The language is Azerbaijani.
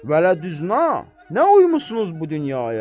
Vələ düna nə uyumusunuz bu dünyaya?